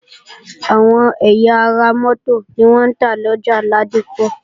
Àwọn ẹ̀yà ara mótò ni wọ́n ń tà lọjà Ládípọ̀